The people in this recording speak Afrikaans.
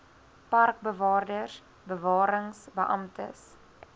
parkbewaarders bewarings beamptes